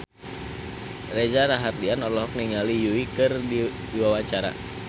Reza Rahardian olohok ningali Yui keur diwawancara